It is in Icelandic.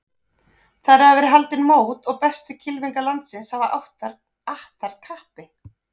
Þar hafa verið haldin mót og bestu kylfingar landsins hafa att þar kappi.